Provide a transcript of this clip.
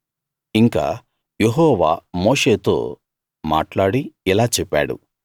ఇంకా యెహోవా మోషేతో మాట్లాడి ఇలా చెప్పాడు